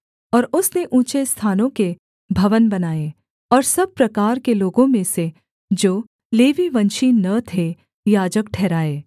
और उसने ऊँचे स्थानों के भवन बनाए और सब प्रकार के लोगों में से जो लेवीवंशी न थे याजक ठहराए